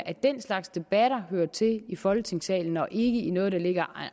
at den slags debatter hører til i folketingssalen og ikke i noget der ligger